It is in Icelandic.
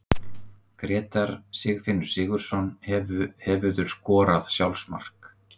Grétar Sigfinnur Sigurðsson Hefurðu skorað sjálfsmark?